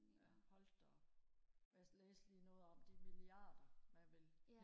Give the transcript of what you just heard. ja hold da op jeg læste lige noget om de milliarder man vil